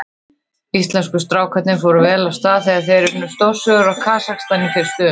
Íslensku strákarnir fóru vel af stað þegar þeir unnu stórsigur á Kasakstan í fyrstu umferð.